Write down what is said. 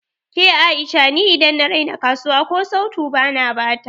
Ke A'isha ni idan na raina kasuwa ko sautu bana bata